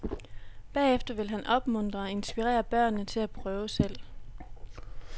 Bagefter vil han opmuntre og inspirere børnene til at prøve selv.